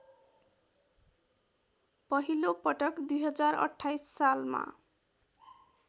पहिलोपटक २०२८ सालमा